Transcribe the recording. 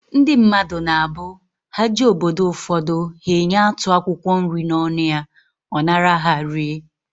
Ndị mmadụ na abụ, ha jee obodo ụfọdụ, he enye atụ akwụkwọ nri n'ọnụ ya, ọ nara ha, rie